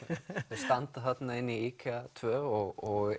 þau standa þarna inni í IKEA tvö og